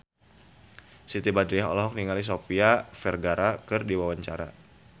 Siti Badriah olohok ningali Sofia Vergara keur diwawancara